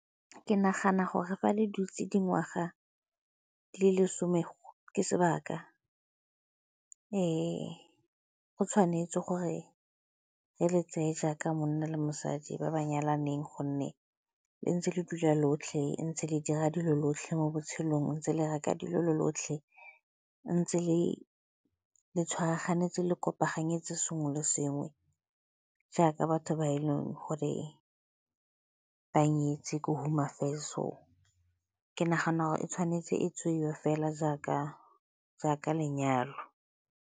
Ke nagana gore fa le dutse dingwaga le lesome ke sebaka. Go tshwanetse gore re le tseye jaaka monna le mosadi ba ba nyalaneng gonne le ntse le dula lotlhe, ntse le dira dilo lotlhe mo botshelong, ntse le reka dilo lo lotlhe, ntse le le tshwaragane tse le kopanetse sengwe le sengwe jaaka batho ba e leng gore ba nyetswe ko Hone Affairs. So, ke nagana gore e tshwanetse e tseiwe fela jaaka lenyalo